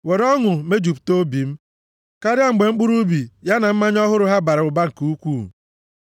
Were ọṅụ mejupụta obi m karịa mgbe mkpụrụ ubi, ya na mmanya ọhụrụ ha bara ụba nke ukwuu.